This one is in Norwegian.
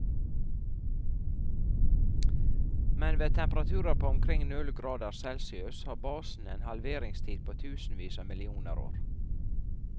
Men ved temperaturer på omkring null grader celsius har basene en halveringstid på tusenvis av millioner år.